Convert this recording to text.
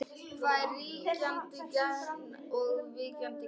Hvað er ríkjandi gen og víkjandi gen?